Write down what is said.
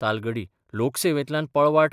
तालगडी लोकसेवेंतल्यान पळवाट